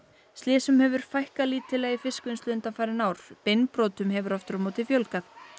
slysum hefur fækkað lítillega í fiskvinnslu undanfarin ár beinbrotum hefur aftur á móti fjölgað